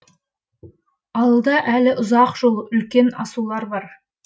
алда әлі ұзақ жол үлкен асулар бар